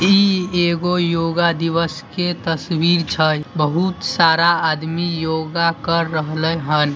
इ एगो योगा दिवस के तस्वीर छै बहुत सारा आदमी योगा कर रहलै हन।